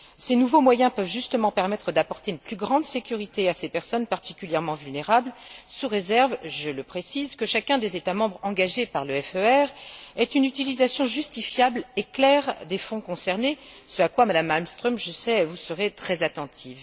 Ces nouveaux moyens peuvent justement permettre d'apporter une plus grande sécurité à ces personnes particulièrement vulnérables, sous réserve je le précise que chacun des États membres engagés par le FER fasse une utilisation justifiable et claire des fonds concernés, ce à quoi, Madame Malmström, je le sais, vous serez très attentive.